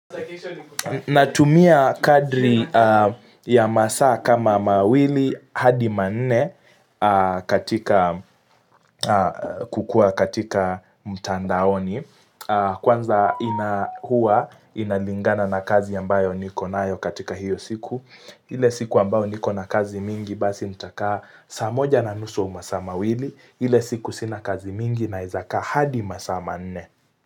Natumia kadri ya masaa kama mawili hadi manne kukua katika mtandaoni Kwanza ina hua inalingana na kazi ambayo niko nayo katika hiyo siku ile siku ambao niko na kazi mingi basi nitakaa saa moja na nusu au masaa mawili ile siku sina kazi mingi naeza kaa hadi masaa manne.